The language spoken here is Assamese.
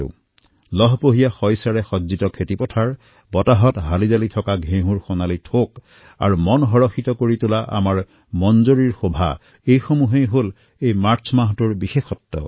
এতিয়া মাৰ্চৰ মাহত লহপহীয়া শস্যৰ দ্বাৰা খেতিপথাৰ সজ্বিত হব ঘেঁহু তথা মন পুলকিত কৰা আমৰ শোভা এয়াইতো এই মাহটোৰ বিশেষত্ব